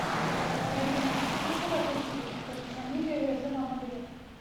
в одиннадцать вечера выставить на кондиционере в режим обогрев